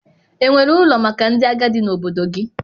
Enwere ụlọ maka ndị agadi na obodo gị?